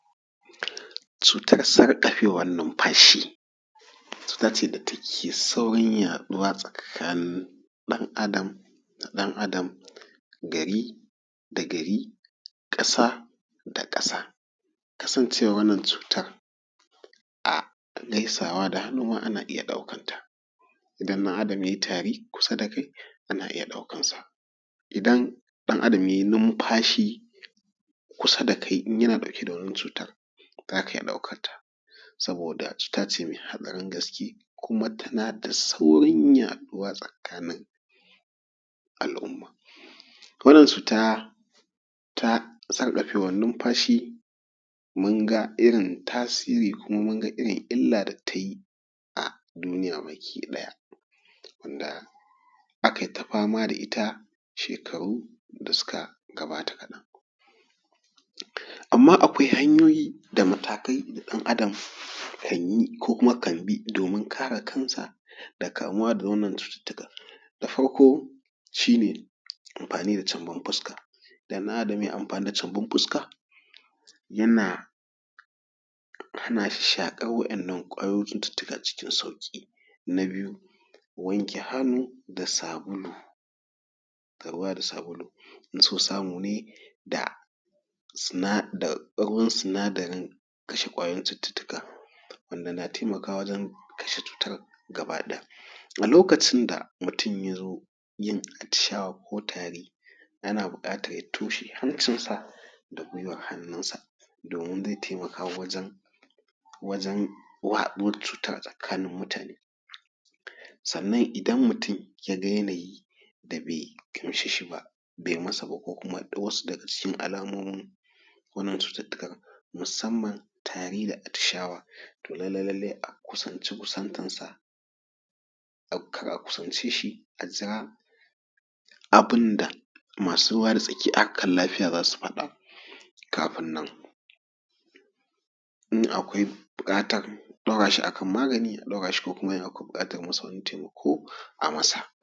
Cutar sarƙafewar numfashi, cuta ce da take saurin yaɗuwa tsakanin ɗan Adam da ɗan Adam, gari da gari, ƙasa da ƙasa. Kasancewar wannan cutar a gaisawa da hannu ma ana iya ɗaukan ta. Idan ɗan Adam ya yi tari kusa da kai ana iya ɗaukan sa, idan ɗan Adam ya yi numfashi kusa da kai in yana dauke da wannan cutar za ka iya ɗaukar ta. Saboda cuta ce mai haɗari gaske kuma tana da saurin yaduwa tsakanin al'umma. Wannan cuta ta sarƙafewar numfashi mun ga irin tasiri kuma mun ga irin illa da ta yi a duniya baki ɗaya, wanda aka yi ta fama da ita shekaru da suka gabata kadan. Amma akwai hanyoyi da matakai da dan Adam kan yi ko kuma kan bi domin kare kansa da kamuwa da wannan cutattukan. Da farko shi ne amfani da cambin fuska, da na da mai amfani da cambin fuska yana hana shi shakar wa'innan kwayoyin cututtuka cikin sauƙi. Na biyu wanke hannu da sabulu da ruwa da sabulu, idan so samu ne da da ruwan sinadarin kashe kwayoyin cututtuka wanda na taimakawa wajen kashe cutar gaba ɗaya. A lokacin da mutum ya zo yin atishawa ko tari ana buƙatar ya toshe hancinsa da guwar hannunsa domin zai taimaka wajan wajan waɗuwar cutar a tsakanin mutane. Sannan idan mutum ya ga yanayi da be gamshe shi ba be masa ba ko kuma wasu daga cikin alamomin wannan cututtukan musamman tari da atishawa, to lallai lallai a kusance kusantansa kar a kusance shi, a jira abun da masu ruwa da tsaki a harkan lafiya za su faɗa kafin nan. in akwai buƙatar a daura shi a kan magani a daurashi a ko kuma in akwai buƙatar wasu wani taimako a masa.